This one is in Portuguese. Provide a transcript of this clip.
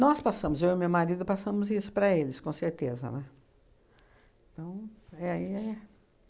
Nós passamos, eu e meu marido, passamos isso para eles, com certeza, né? Então é aí é